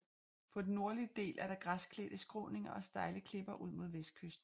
På den nordlige del er der græsklædte skråninger og stejle klipper ud mod vestkysten